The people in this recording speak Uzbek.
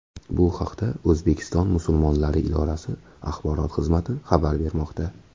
Bu haqda O‘zbekiston musulmonlari idorasi Axborot xizmati xabar bermoqda .